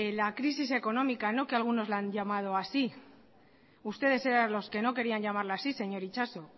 la crisis económica que algunos le han llamado así ustedes eran los que no querían llamarla así señor itxaso